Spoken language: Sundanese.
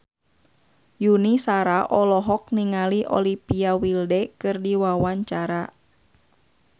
Yuni Shara olohok ningali Olivia Wilde keur diwawancara